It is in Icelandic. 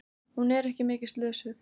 Hún er ekki mikið slösuð.